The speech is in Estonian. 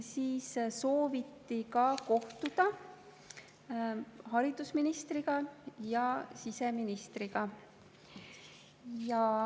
Siis sooviti kohtuda haridusministri ja siseministriga.